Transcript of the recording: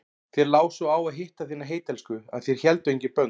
Þér lá svo á að hitta þína heittelskuðu að þér héldu engin bönd.